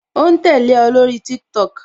O ń tẹ́lẹ̀ o lórí TikTok